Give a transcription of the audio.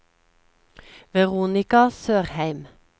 Veronika Sørheim